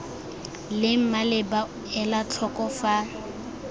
leng maleba ela tlhoko fa